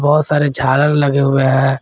बहुत सारे झालर लगे हुए है।